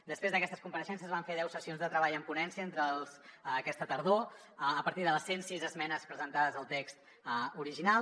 després d’aquestes compareixences es van fer deu sessions de treball en ponència aquesta tardor a partir de les cent sis esmenes presentades al text original